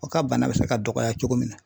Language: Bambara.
O ka bana bɛ se ka dɔgɔya cogo min na.